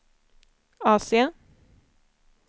AC